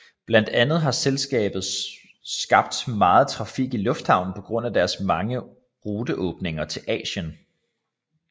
Blandt andet har selskabet skabt meget trafik i lufthavnen på grund af deres mange ruteåbninger til Asien